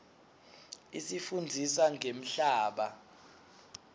isifundzisa ngemhlaba